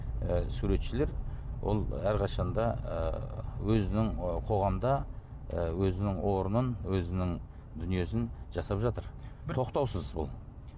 ы суретшілер ол әрқашан да ы өзінің ы қоғамда ы өзінің орнын өзінің дүниесін жасап жатыр тоқтаусыз ол